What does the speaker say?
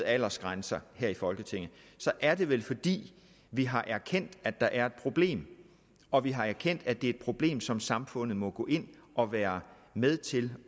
aldersgrænser her i folketinget er det vel fordi vi har erkendt at der er et problem og vi har erkendt at det er et problem som samfundet må gå ind og være med til